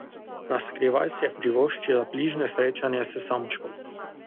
Naskrivaj si je privoščila bližnje srečanje s samčkom.